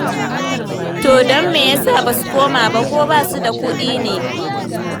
To don me ya sa ba su koma ba, ko ba su da kuɗi ne?